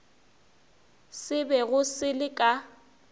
se bego se le ka